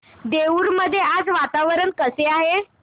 देऊर मध्ये आज वातावरण कसे आहे